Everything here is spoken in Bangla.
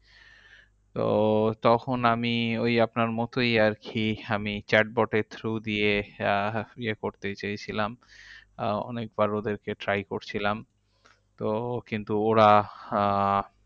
তো তখন আমি ওই আপনার মতোই আরকি, আমি chatbot এর through দিয়ে আহ ইয়ে করতে চেয়েছিলাম অনেকবার ওদেরকে try করছিলাম তো কিন্তু ওরা আহ